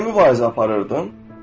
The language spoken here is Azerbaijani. Niyə mübarizə aparırdın?